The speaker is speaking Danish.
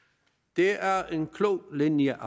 det er en klog linje